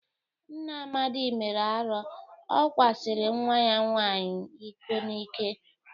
Nna Amadị mere arọ. O kwasịrị nwa ya nwaanyị iko n'ike.